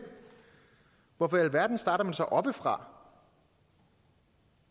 hvorfor i alverden starter man så oppefra